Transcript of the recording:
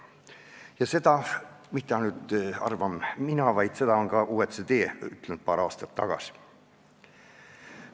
Ja seda ei arva ainult mina, vaid seda on paar aastat tagasi öelnud ka OECD.